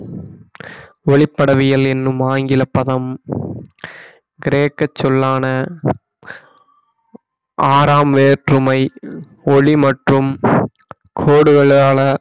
ஒளிப்படவியல் என்னும் ஆங்கில பதம் கிரேக்க சொல்லான ஆறாம் வேற்றுமை ஒளி மற்றும் கோடுகளான